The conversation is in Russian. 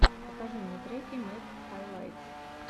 покажи мне треки мэд хайлайтс